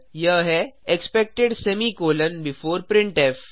यह है expected semicolon before printf